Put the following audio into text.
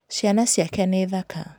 Ciana ciake nĩ thaka.